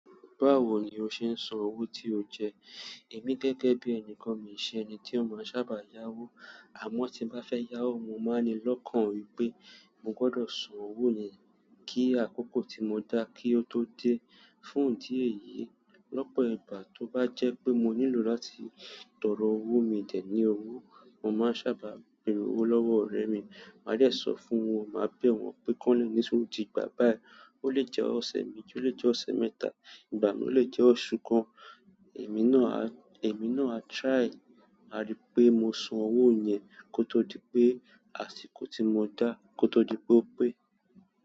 Báwo ni o ṣe ń san owó tí o jẹ? Èmi gẹ́gẹ́ bí ẹni kan, mi ò kìí ṣe ẹni tí ó máa ń sábà yá owó, àmọ́ tí n bá fẹ́ yá owó, mo máa ń ní lọ́kàn wípé mo gbọdọ̀ san owó yẹn kí àkókò tí mo dá kí ó tó dé. Fún ìdí èyí, lọ́pọ̀ ìgbà tó bá jẹ́ pé mo nílò láti tọrọ owó, mi ò dẹ̀ ní owó, mo máa ń sábà bèrè owó lọ́wọ́ ọ̀rẹ́ mi. Mà á dẹ̀ sọ fún wọn, màá bẹ́ wọ́n pé k'ọ́n lè ni sùúrù di ìgbà báyìí, ó lè jẹ́ ọ̀sẹ̀ méjì, ó lè jẹ́ ọ̀sẹ̀ mẹ́ta, ìgbà míì ó lè jẹ́ oṣù kan. Èmi náà a, èmi náà a try, màá rí'pé mo san owó yẹn kó tó di'pé àsìkò tí mo dá, kó tó di pé ó pé.